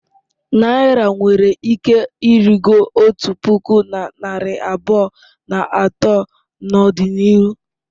Naira nwere ike ịrịgo otu puku na narị abụọ na atọ n'ọdịnihu.